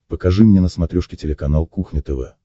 покажи мне на смотрешке телеканал кухня тв